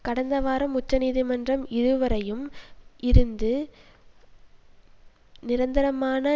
கடந்த வாரம் உச்ச நீதிமன்றம் இருவரையும் இருந்து நிரந்தரமான